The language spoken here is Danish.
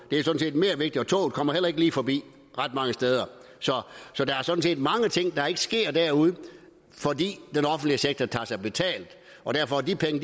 det er mere vigtigt og toget kommer heller ikke lige forbi ret mange steder så der er sådan set mange ting der ikke sker derude fordi den offentlige sektor tager sig betalt og derfor er de penge